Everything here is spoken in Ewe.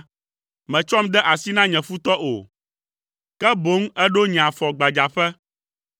Mètsɔm de asi na nye futɔ o, ke boŋ èɖo nye afɔ gbadzaƒe.